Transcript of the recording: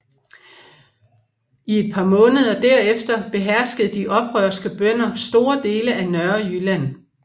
I et par måneder derefter beherskede de oprørske bønder store dele af Nørrejylland